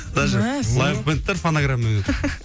даже лайв бэндтер фонограммамен ойнайды